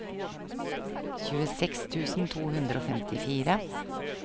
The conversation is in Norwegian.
tjueseks tusen to hundre og femtifire